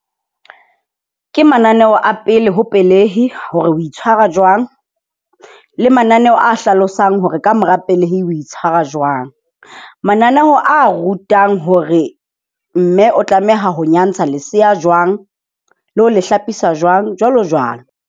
Ke mananeho a pele ho pelehi hore o itshwara jwang. Le mananeo a hlalosang hore kamora pelehi o itshwara jwang. Mananeho a rutang hore mme o tlameha ho nyantsha lesea jwang le ho le hlapisa jwang, jwalo jwalo.